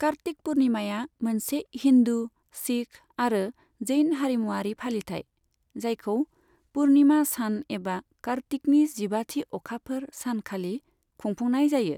कार्तिक पुर्णिमाया मोनसे हिन्दु, सिख आरो जैन हारिमुआरि फालिथाय, जायखौ पुर्णिमा सान एबा कार्तिकनि जिबाथि अखाफोर सान खालि खुंफुंनाय जायो।